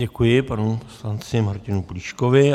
Děkuji panu poslanci Martinu Plíškovi.